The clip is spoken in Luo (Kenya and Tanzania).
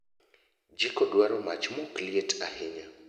jiko dwaro mach mokliet ahinya